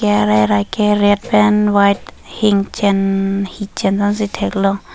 arai rai k red pen white hichen hichen ason si theklong.